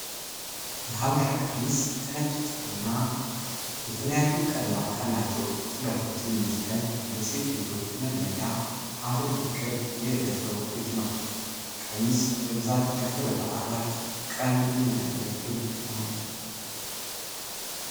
የሀበሻ ቀሚስ ከነጭ ጥጥ እና የተለያዩ ቀለማት ካላቸው ጥለቶች የሚዘጋጅ ለሴት ልጆች መድመቂያ ሀገር በቀል የእደ ጥበብ ውጤት ነው። ቀሚስ በብዛት ለክብረ በዓላት ቀን የሚያገለግል ነው።